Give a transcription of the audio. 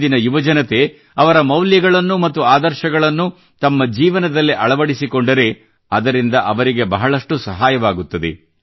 ಇಂದಿನ ಯುವಜನತೆ ಅವರ ಮೌಲ್ಯಗಳನ್ನು ಮತ್ತು ಆದರ್ಶಗಳನ್ನು ತಮ್ಮ ಜೀವನದಲ್ಲಿ ಅಳವಡಿಸಿಕೊಂಡರೆ ಅದರಿಂದ ಅವರಿಗೆ ಬಹಳಷ್ಟು ಸಹಾಯವಾಗುತ್ತದೆ